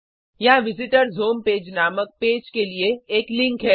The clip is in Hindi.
यहाँ विजिटर्स होम पेज नामक पेज के लिए एक लिंक है